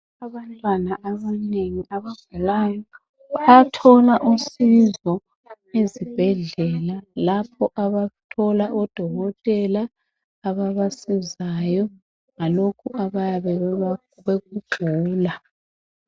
Abantwana abanengi abafundelayo bayathola usizo ezibhendlela lapho abathola odokotela ababasizayo ngalokhu abayabe bekugula